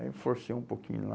Aí eu forcei um pouquinho lá...